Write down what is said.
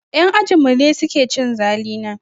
Yan ajinmu ne suke cin zalina.